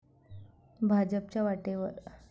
भाजपच्या वाटेवर.